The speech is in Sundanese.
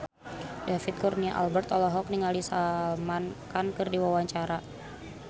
David Kurnia Albert olohok ningali Salman Khan keur diwawancara